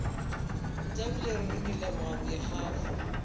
ntlabile ruri ke leboga boikgafo